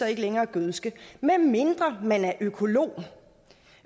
ikke længere gødske medmindre man er økolog